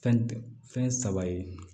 Fɛn fɛn saba ye